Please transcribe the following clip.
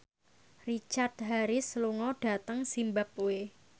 Richard Harris lunga dhateng zimbabwe